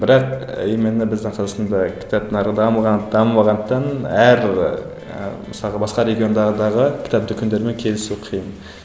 бірақ именно біздің қазақстандағы кітап нарығы дамыған дамымағандықтан әр ыыы мысалғы басқа кітап дүкендермен келісу қиын